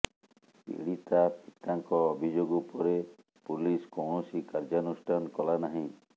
ପୀଡ଼ିତା ପିତାଙ୍କ ଅଭିଯୋଗ ଉପରେ ପୁଲିସ୍ କୌଣସି କାର୍ଯ୍ୟାନୁଷ୍ଠାନ କଲା ନାହିଁ